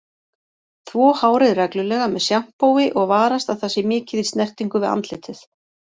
Þvo hárið reglulega með sjampói og varast að það sé mikið í snertingu við andlitið.